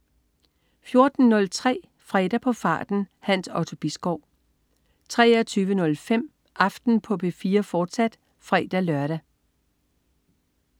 14.03 Fredag på farten. Hans Otto Bisgaard 23.05 Aften på P4, fortsat (fre-lør)